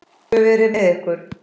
Guð veri með ykkur.